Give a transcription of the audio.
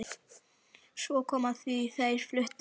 Svo kom að því að þær fluttu að heiman.